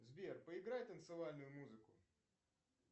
сбер поиграй танцевальную музыку